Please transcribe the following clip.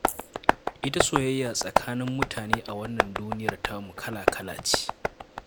Ita soyayya tsakanin mutane a wannan duniyar tamu kala-kala ce